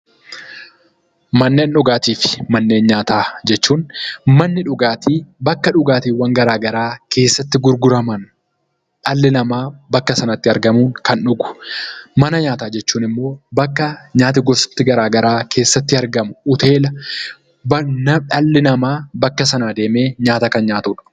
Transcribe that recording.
Manneen dhugaatii fi manneen nyaataa jechuun manni dhugaatii bakka dhugaatiiwwan garaa garaa keessatti gurguraman dhalli namaa bakka sanatti argamuun kan dhugu. Mana nyaataa jechuun immoo bakka nyaatni gosti garaa garaa keessatti argamu hoteela dhalli namaa bakka sana deemee nyaata kan nyaatuudha.